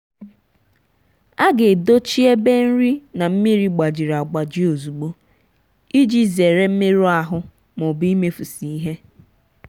a ga-edochi ebe nri na mmiri gbajiri agbaji ozugbo iji zere mmerụ ahụ ma ọ bụ imefusị ihe.